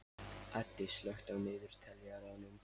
Addi, slökktu á niðurteljaranum.